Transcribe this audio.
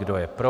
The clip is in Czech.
Kdo je pro?